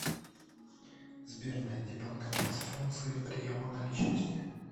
сбер найди банкомат с функцией приема наличности